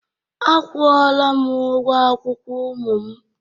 A kwụ-ola m ụgwo akwụkwo ụmu m